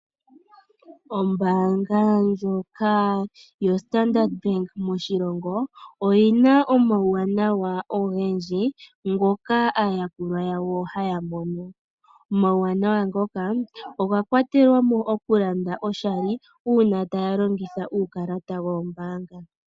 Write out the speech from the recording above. Ombaanga ndjoka yostandard bank moshilongo oyi na omawuwanawa ngendji, ngoka aayakulwa yawo haya mono. Omawuwanawa ngoka oga kwatela mo okulanda oshali uuna taya longitha uukalata wombaanga.